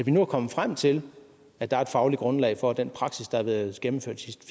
nu er kommet frem til at der er et fagligt grundlag for at den praksis der har været gennemført de sidste